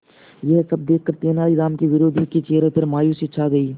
यह सब देखकर तेनालीराम के विरोधियों के चेहरे पर मायूसी छा गई